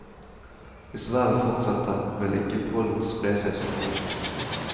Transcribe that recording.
Hvis været fortsetter, vil ikke pollen spre seg så mye.